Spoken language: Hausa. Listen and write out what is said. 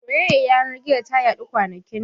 Soyayyar yanar gizo ta yaɗu kwanakin nan